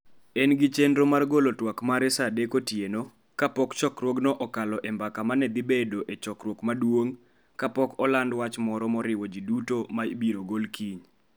En gi chenro mar golo twak mare sa 3:00 otieno, kapok chokruogno okalo e mbaka ma ne dhi bedo e chokruok maduong' kapok oland wach moro moriwo ji duto ma ibiro gol kiny.